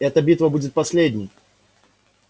эта битва будет последней